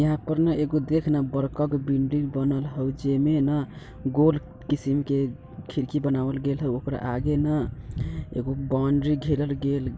यहां पर न एगो देख ना बड़का गो बिल्डिंग बनल होऊ जेई में ना गोल किसिम के खिड़की बनावल गेल होऊ ओकरा आगे न एगो बॉउंड्री घेरल गेल --